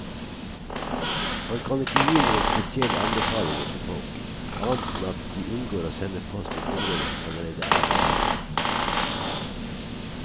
Han kan ikke gi noen spesielle anbefalinger til folk, annet enn at de unngår å sende post til områder som allerede er rammet.